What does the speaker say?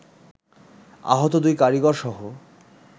আহত দুই কারিগরসহ